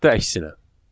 Və yaxud da əksinə.